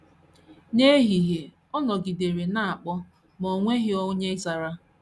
N’ehihie, ọ nọgidere na - akpọ, ma o nweghịkwa onye zara.